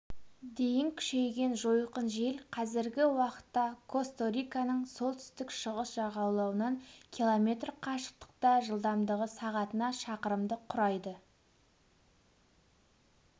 дейін күшейген жойқын жел қазіргі уақытта косто-риканың солтүстік-шығыс жағалауынан км қашықтықта жылдамдығы сағатына шақырымды құрайды